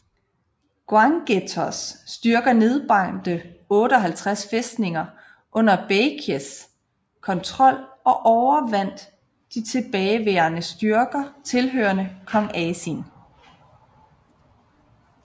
Gwanggaetos styrker nedbrændte 58 fæstninger under Baekjes kontrol og overvandt de tilbageværende styrker tilhørende kong Asin